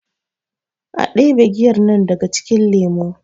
a debe giyar nan daga cikin lemo!